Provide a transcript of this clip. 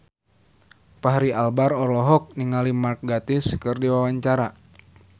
Fachri Albar olohok ningali Mark Gatiss keur diwawancara